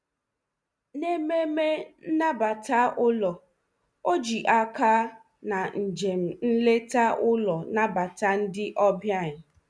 N'ememe nnabata ụlọ, o ji aka na njem nleta ụlọ nabata ndị ọbịa.